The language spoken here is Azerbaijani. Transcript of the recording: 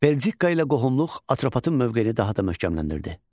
Belçika ilə qohumluq Atropatın mövqeyini daha da möhkəmləndirdi.